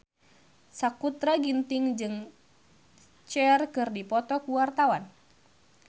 Sakutra Ginting jeung Cher keur dipoto ku wartawan